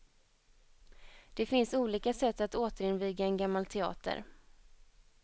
Det finns olika sätt att återinviga en gammal teater.